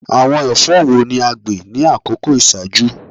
Awọn ẹfọ wo ni a gbin ni akoko iṣaaju?